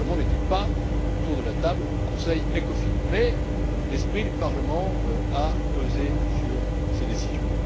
Le Parlement n'était pas autour de la table du Conseil ECOFIN, mais l'esprit du Parlement a pesé sur ses décisions.